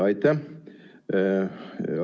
Aitäh!